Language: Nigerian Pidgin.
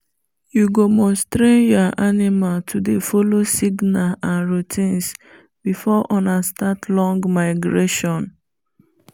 you go must train you animal to dey follow signer and routines before ona start long migration